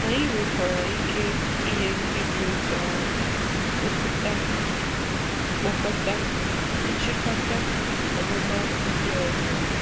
Anyị nwekwara ike inye ndị dị otú ahụ rùpụta mkpokọta nchị̀kàtà ọmụma ndị ọzọ.